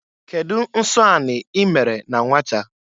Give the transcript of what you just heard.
Kedụ nsọ anị ị mere na nwata?